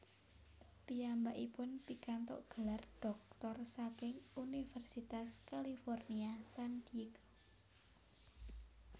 Piyambakipun pikantuk gelar dhoktor saking Universitas California San Diego